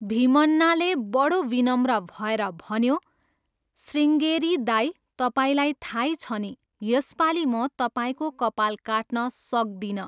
भीमन्नाले बडो विनम्र भएर भन्यो, श्रीङ्गेरी दाइ, तपाईँलाई थाहै छ नि, यसपालि म तपाईँको कपाल काट्न सक्दिनँ।